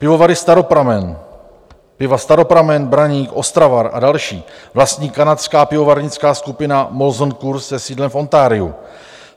Pivovary Staropramen, piva Staropramen, Braník, Ostravar a další vlastní kanadská pivovarnická skupina Molson Coors se sídlem v Ontariu.